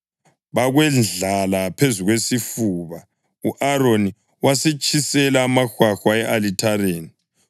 bakwendlala phezu kwesifuba, u-Aroni wasetshisela amahwahwa e-alithareni.